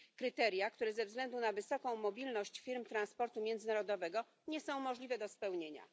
Kryteria, które ze względu na wysoką mobilność firm transportu międzynarodowego nie są możliwe do spełnienia.